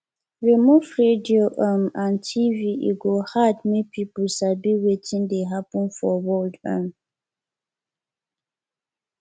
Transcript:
remove radio um and tv e go hard make people sabi wetin dey happen for world um